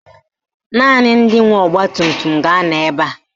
Naanị ndị nwe ọgbatumtum ga-anọ ebe a